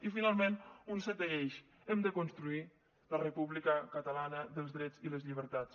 i finalment un setè eix hem de construir la república catalana dels drets i les llibertats